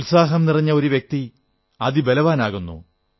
ഉത്സാഹം നിറഞ്ഞ ഒരു വ്യക്തി അതിബലവാനാകുന്നു